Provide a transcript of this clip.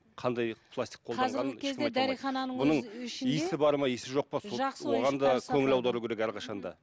қандай пластик оған да көңіл аудару керек әрқашан да